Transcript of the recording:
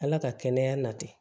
Ala ka kɛnɛya na tɛ